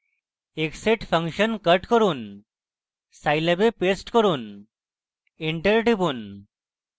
xset function cut করুন scilab এ paste করুন enter টিপুন